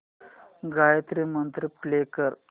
गायत्री मंत्र प्ले कर